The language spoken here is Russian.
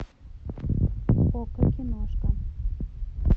окко киношка